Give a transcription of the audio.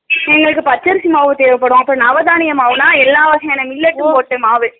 உங்களுக்கு பச்சரிசி மாவு தேவேப்படும் அப்பறம் நவதானியும் மாவுனா எல்லவையான millet உம் போட்ட மாவு